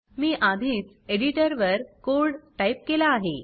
मी आधीच एडिटर वर code type केला आहे